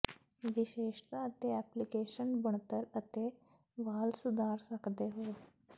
ਵਿਸ਼ੇਸ਼ਤਾ ਅਤੇ ਐਪਲੀਕੇਸ਼ਨ ਬਣਤਰ ਅਤੇ ਵਾਲ ਸੁਧਾਰ ਸਕਦੇ ਹੋ